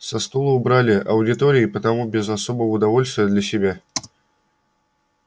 со стула убрали аудитории и потому без особого удовольствия для себя